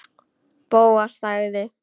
Bóas þagði.